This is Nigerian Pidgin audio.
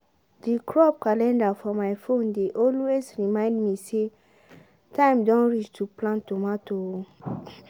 the crop calendar for my phone dey always remind me say “time don reach to plant tomato o.”